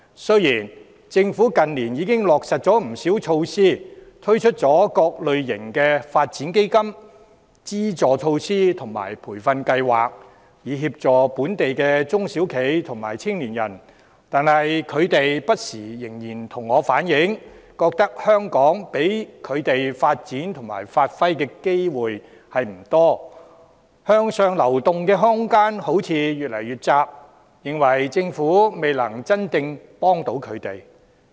雖然政府近年已落實不少措施，推出各類發展基金、資助措施和培訓計劃，以協助本地的中小企和青年人，但他們仍然不時向我反映，在香港他們能發展和發揮才能的機會不多，向上流動的空間似乎越來越窄，他們認為政府未能真正提供協助。